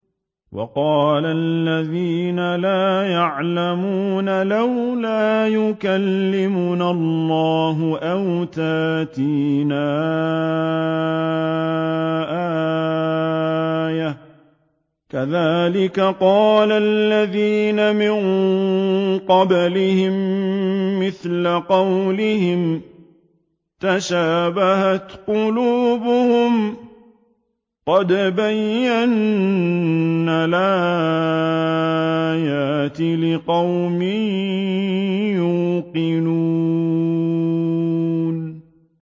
وَقَالَ الَّذِينَ لَا يَعْلَمُونَ لَوْلَا يُكَلِّمُنَا اللَّهُ أَوْ تَأْتِينَا آيَةٌ ۗ كَذَٰلِكَ قَالَ الَّذِينَ مِن قَبْلِهِم مِّثْلَ قَوْلِهِمْ ۘ تَشَابَهَتْ قُلُوبُهُمْ ۗ قَدْ بَيَّنَّا الْآيَاتِ لِقَوْمٍ يُوقِنُونَ